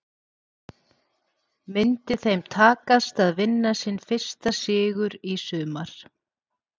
Myndi þeim takast að vinna sinn fyrsta sigur í sumar?